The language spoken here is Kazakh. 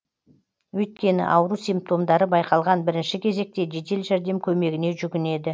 өйткені ауру симптомдары байқалған бірінші кезекте жедел жәрдем көмегіне жүгінеді